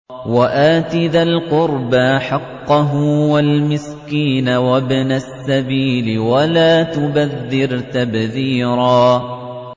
وَآتِ ذَا الْقُرْبَىٰ حَقَّهُ وَالْمِسْكِينَ وَابْنَ السَّبِيلِ وَلَا تُبَذِّرْ تَبْذِيرًا